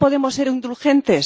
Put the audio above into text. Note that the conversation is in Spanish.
Y no podemos ser indulgentes.